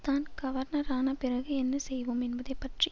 தான் கவர்னரான பிறகு என்ன செய்வோம் என்பதை பற்றி